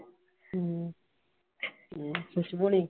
ਹਮ ਤੇ ਖੁਸ਼ਬੂ ਹੋਣੀ